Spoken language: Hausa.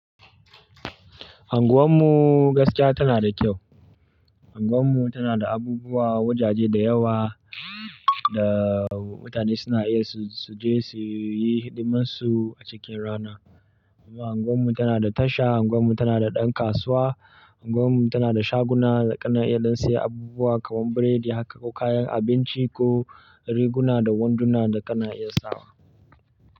Anguwan mu gaskiya tana da kyau. Anguwan mu tana da abubuwa, wajaje da yawa da mutane suna iya su, su je su yi hidimun su a cikin rana. Anguwan mu tana da tasha, anguwan mu tana da ɗan kasuwa, anguwan mu tana da shaguna da kana iya don siya abubuwa kaman biredi haka ko kayan abinci ko riguna da wanduna da kana iya sawa.